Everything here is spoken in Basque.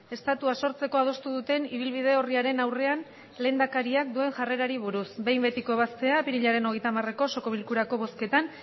estatua sortzeko adostu duten ibilbide orriaren aurrean lehendakariak duen jarrerari buruz behin betiko ebaztea apirilaren hogeita hamareko osoko bilkurako bozketan